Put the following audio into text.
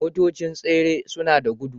Motocin tsere sunada gudu